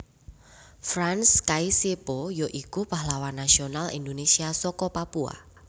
Frans Kaisiepo ya iku pahlawan nasional Indonésia saka Papua